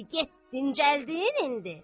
Get, dincəldin indi?